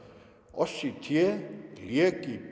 oss í té lét í